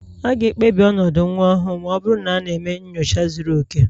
A ga-ekpebi ọnọdụ nwa ọhụrụ ma ọ bụrụ na a na-eme nyocha zuru oke